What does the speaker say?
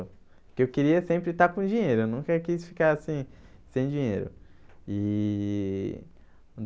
Porque eu queria sempre estar com dinheiro, eu nunca quis ficar sem sem dinheiro e.